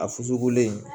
A fusugulen